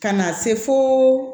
Ka na se fo